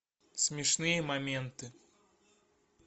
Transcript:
смешные моменты